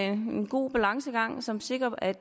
en god balancegang som sikrer at